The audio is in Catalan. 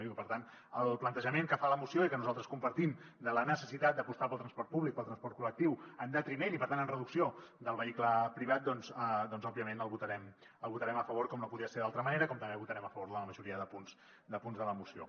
i per tant el plantejament que fa la moció i que nosaltres compartim de la necessitat d’apostar pel transport públic pel transport col·lectiu en detriment i per tant en reducció del vehicle privat doncs òbviament el votarem a favor com no podia ser d’altra manera com també votarem a favor la majoria de punts de la moció